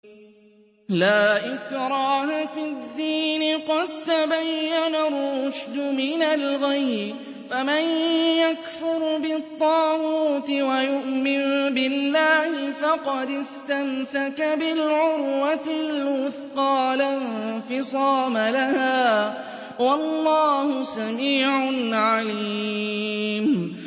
لَا إِكْرَاهَ فِي الدِّينِ ۖ قَد تَّبَيَّنَ الرُّشْدُ مِنَ الْغَيِّ ۚ فَمَن يَكْفُرْ بِالطَّاغُوتِ وَيُؤْمِن بِاللَّهِ فَقَدِ اسْتَمْسَكَ بِالْعُرْوَةِ الْوُثْقَىٰ لَا انفِصَامَ لَهَا ۗ وَاللَّهُ سَمِيعٌ عَلِيمٌ